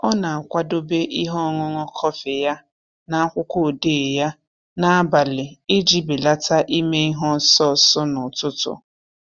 Ọ na-akwadobe ihe ọṅụṅụ kọfị ya na akwụkwọ odee ya n'abalị iji belata ime ihe ọsọọsọ n'ụtụtụ.